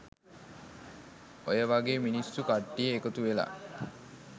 ඔය වගේ මිනිස්සු කට්ටිය එකතු වෙලා